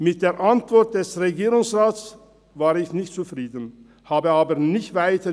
Mit der Antwort des Regierungsrates war ich nicht zufrieden, ich grübelte aber nicht weiter.